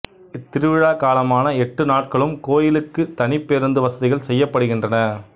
இத்திருவிழாக் காலமான எட்டு நாட்களும் கோயிலுக்கு தனிப் பேருந்து வசதிகள் செய்யப்படுகின்றன